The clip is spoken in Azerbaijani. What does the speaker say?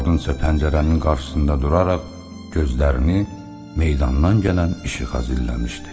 Qadın isə pəncərənin qarşısında duraraq gözlərini meydandan gələn işığa zilləmişdi.